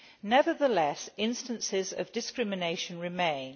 Nevertheless, instances of discrimination remain.